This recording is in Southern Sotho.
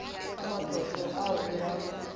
ka matlotlo ao re a